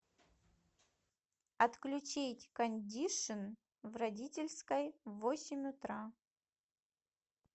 отключить кондишн в родительской в восемь утра